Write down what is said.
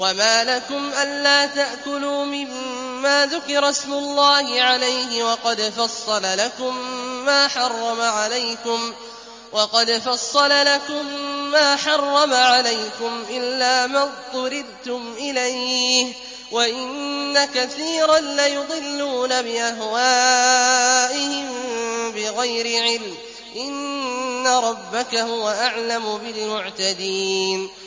وَمَا لَكُمْ أَلَّا تَأْكُلُوا مِمَّا ذُكِرَ اسْمُ اللَّهِ عَلَيْهِ وَقَدْ فَصَّلَ لَكُم مَّا حَرَّمَ عَلَيْكُمْ إِلَّا مَا اضْطُرِرْتُمْ إِلَيْهِ ۗ وَإِنَّ كَثِيرًا لَّيُضِلُّونَ بِأَهْوَائِهِم بِغَيْرِ عِلْمٍ ۗ إِنَّ رَبَّكَ هُوَ أَعْلَمُ بِالْمُعْتَدِينَ